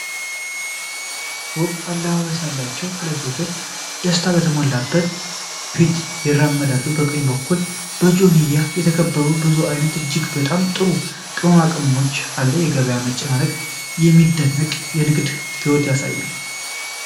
ውብ አለባበስ ያላቸው ሁለት ሴቶች ደስታ በተሞላበት ፊት ይራመዳሉ። በቀኝ በኩል በጆንያ የተከመረ ብዙ አይነት እጅግ በጣም ጥሩ ቅመማቅመም አለ። የገበያው መጨናነቅ የሚደንቅ የንግድ ህይወት ያሳያል።